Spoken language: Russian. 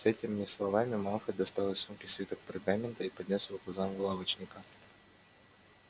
с этими словами малфой достал из сумки свиток пергамента и поднёс его к глазам лавочника